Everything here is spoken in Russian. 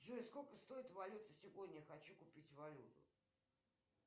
джой сколько стоит валюта сегодня хочу купить валюту